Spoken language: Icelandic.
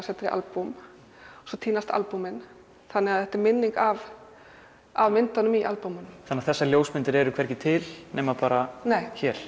setur í albúm svo týnast albúmin þannig þetta er minning af af myndunum í albúmunum þannig þessar ljósmyndir eru hvergi til nema bara hér